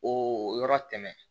O yɔrɔ tɛmɛn